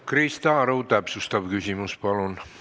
Krista Aru, täpsustav küsimus, palun!